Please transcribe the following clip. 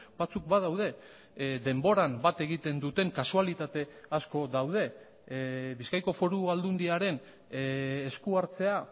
batzuk badaude denboran bat egiten duten kasualitate asko daude bizkaiko foru aldundiaren eskuhartzea